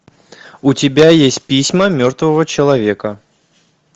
у тебя есть письма мертвого человека